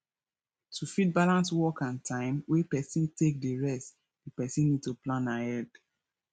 to fit balance work and time wey person take dey rest di person need to plan ahead